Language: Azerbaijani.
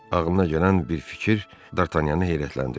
Ağlına gələn bir fikir Dartanyanı heyrətləndirdi.